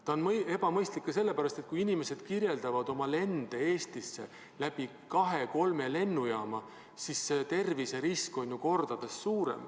See on ebamõistlik ka sellepärast, et kui inimesed lendavad Eestisse läbi kahe-kolme lennujaama, siis terviserisk on ju kordades suurem.